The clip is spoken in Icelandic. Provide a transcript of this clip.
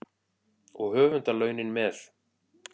Og höfundarlaunin með.